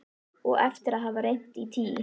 Og eftir að hafa reynt í tí